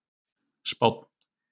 Spánn